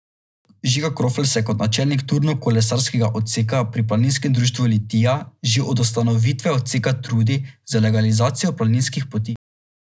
Žiga Krofl se kot načelnik turno kolesarskega odseka pri planinskem društvu Litija že od ustanovitve odseka trudi z legalizacijo planinskih poti.